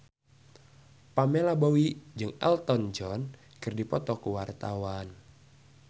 Pamela Bowie jeung Elton John keur dipoto ku wartawan